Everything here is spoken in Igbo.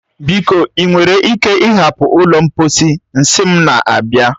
Biko, ị nwere ike ịhapụ ụlọ mposi, nsị m na-abịa.